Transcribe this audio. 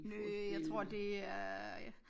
Nå jeg tror det er